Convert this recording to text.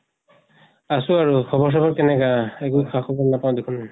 আছো আৰু। খবৰ চবৰ কেনেকা? একো খা খবৰ নাপাওঁ দেখোন।